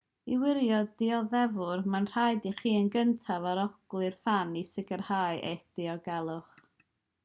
i wirio'r dioddefwr mae'n rhaid i chi yn gyntaf arolygu'r fan i sicrhau eich diogelwch